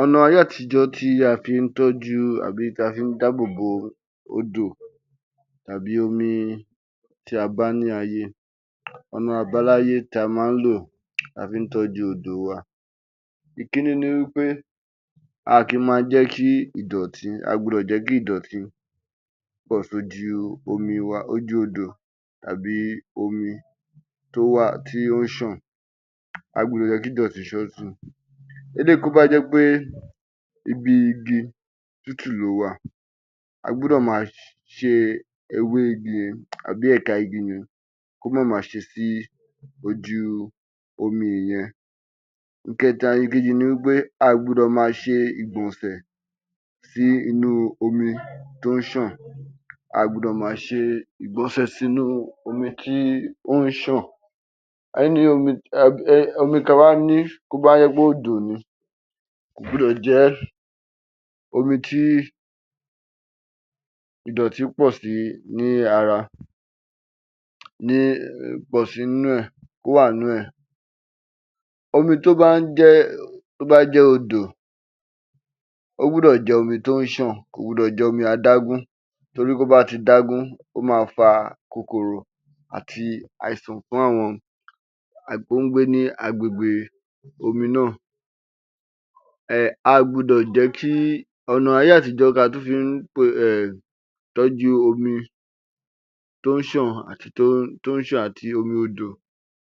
Ọ̀nà ayé àtijó tí a fín tọ́jú tàbí tí a fín dáàbòbò odò tàbí omi tí a bá ní ayé, ọ̀nà àbáláyé tí a má lò tí a fín tọ́jú odò wa. Ìkíní ni wí pé a à kí má jẹ́ kí ìdọ̀tí, a à gbọ́dọ̀ jẹ́ kí ìdọ̀tí pọ̀ sójú odò wa àbí omi tí ó ń ṣàn, a à gbọ́dọ̀ jẹ́ kí ìdọ̀tí ṣàn si. Eléyíì tí ó bá jẹ́ pé ibi igi tútù lówà a gbọ́dọ̀ ma ṣẹ́ ewé igi yẹn àbí ẹ̀ka igi yẹn kí ó má ma ṣe sí ojú omi yẹn. Ìkẹta, Ìkejì ni wí pé a à gbọ́dọ̀ ma ṣe ìgbọ̀nsẹ̀ sí inú omi tó ń ṣàn, a à gbọ́dọ̀ ma ṣe ìgbọ̀nsẹ̀ sínú omi tí ó ń ṣàn. Omi tí a bá ní tí ó bá jẹ́ pé odò ni, kò gbọ́dọ̀ jẹ́ omi tí ìdọ̀tí pọ̀ sí ní ara ni pọ̀ sí inú ẹ̀, kí ó wà nínú ẹ̀. Omi tó bá jẹ́ odò ó gbọ́dọ̀ jẹ́ omi tí ó ń ṣàn, kò gbọ́dọ̀ jé omi adágún tori tí ó bá ti dágún, ó ma fa kòkòrò àti àìsàn fún àwọn tó ń gbé ní agbègbè omi náà. A à gbọ́dọ̀ jẹ́ kí, ònà ayé àtijó tí a tún fín ṣe um ìtọ́jú omi tó ń ṣàn àti omi odò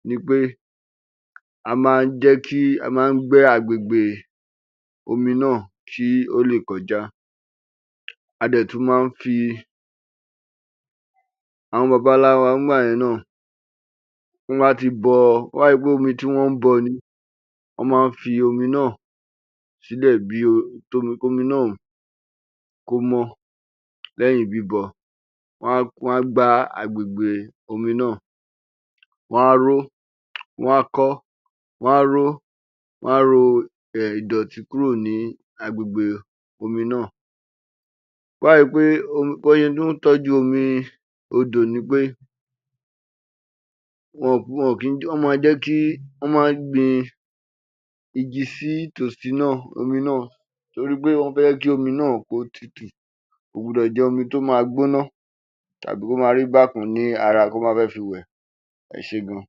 ni pé a má ń jẹ́ kí, a má ń gbẹ́ agbègbè omi náà, kí ó lè kọjá, a dẹ̀ tún má ń fi, àwọn bàbá ńlá wa nígbà yẹn náà tí wọ́n bá ti bọ, tí ó bá ṣe pé omi tí wọ́n ń bọ ni, wọ́n ma ń fi omi náà sílẹ̀ kí omi náà kó mọ́ lẹ́yìn bíbọ, wọn á gbá agbègbè omi náà, wọn á ró, wọn á kọ́, wọn á ro ìdọ̀tí kúrò ní agbègbè omi náà, tí ó bá ṣe pé, bí wọ́n ṣe tún tọ́jú omi odò ni pé, wọn ò kín jẹ́ kí, wọ́n ma jẹ́ kí, wọ́n ma ń gbin igi sí tòsí omi náà torí pé wọ́n fẹ́ kí omi náà kí ó tutù, kò gbọ́dọ̀ jẹ́ omi tí ó ma gbóná tàbí kí ó ma rí bákan ní ara tí wọ́n bá fẹ́ fi wẹ̀, ẹ ṣé gan.